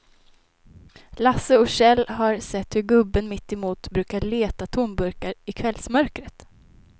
Lasse och Kjell har sett hur gubben mittemot brukar leta tomburkar i kvällsmörkret.